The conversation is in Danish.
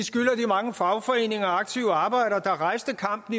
mange fagforeninger og aktive arbejdere der rejste kampen